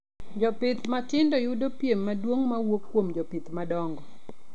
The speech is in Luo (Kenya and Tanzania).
Jopith matindo yudo piem maduong mawuok kuom jopith madongo